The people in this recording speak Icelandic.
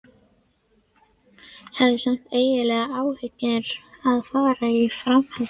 Ég hafði samt engan áhuga á að fara í framhaldsnám.